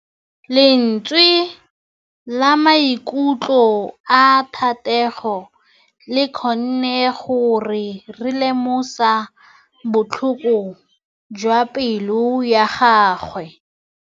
Lentswe la maikutlo a Thategô le kgonne gore re lemosa botlhoko jwa pelô ya gagwe.